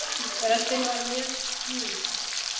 Röddin var mjög djúp.